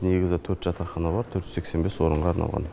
негізі төрт жатақхана бар төрт жүз сексен бес орынға арналған